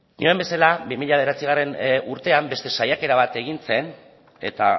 da nioen bezala bi mila bederatzigarrena urtean beste saiakera bat egin zen eta